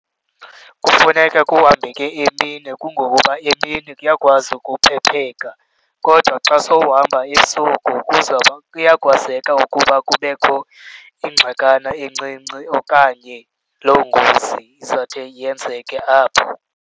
Kufuneka kuhambeke emini kungokuba emini kuyakwazi ukuphepheka, kodwa xa sowuhamba ebusuku kuzwuba, kuyakwazeka ukuba kubekho iingxakana encinci okanye loo ngozi izawuthe yenzeke apho.